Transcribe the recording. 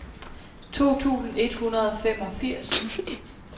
to tusind et hundrede og femogfirs